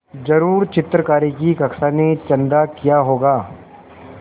ज़रूर चित्रकारी की कक्षा ने चंदा किया होगा